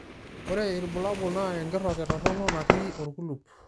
Ore ilbulabul naa enkiroket toronok natii olkulup.